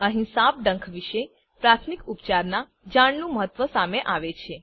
અહીં સાપ ડંખ વિશે પ્રાથમિક ઉપચારનાં જાણનું મહત્વ સામે આવે છે